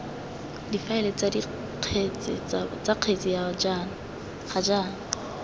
difaele tsa kgetse ga jaana